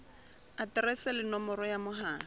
aterese le nomoro ya mohala